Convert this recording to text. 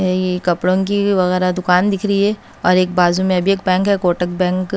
कपड़ों की वगैरह दुकान दिख रही है और एक बाजू में भी एक बैंक है कोटक बैंक ।